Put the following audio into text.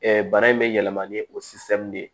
bana in bɛ yɛlɛma ni o de